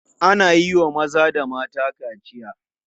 Ana iya wa maza da mata kaciya.